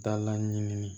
Da la ɲimini